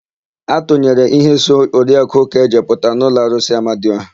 A tụnyere íhé so nwa Oriaku Ukeje pụta n'ụlọ arụsị Amadiọha.